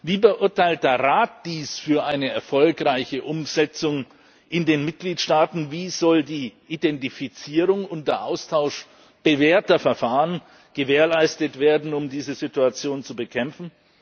Wie beurteilt der Rat dies für eine erfolgreiche Umsetzung in den Mitgliedstaaten? Wie sollen die Identifizierung und der Austausch bewährter Verfahren gewährleistet werden, um diese Situation zu bekämpfen?